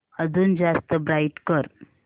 अजून जास्त ब्राईट कर